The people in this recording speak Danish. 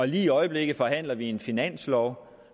lige i øjeblikket forhandler vi en finanslov